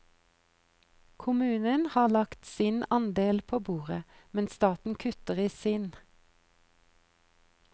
Kommunen har lagt sin andel på bordet, men staten kutter i sin.